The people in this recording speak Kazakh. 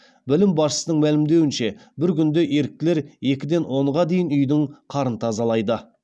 бөлім басшысының мәлімдеуінше бір күнде еріктілер екіден онға дейін үйдің қарын тазалайды